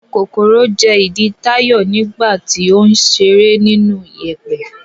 Kòkòrò jẹ ìdí Táyọ̀ nígbà tó ń ṣeré nínú ìyẹ̀pẹ̀.